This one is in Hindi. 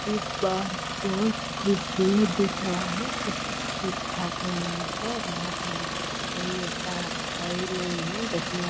इ पार्क बहुत खूबसूरत दिख रहा है सब कुछ ठीक ठाक है यहाँ पर यहाँ पर कोई ऐसा है ही नही देखने वा --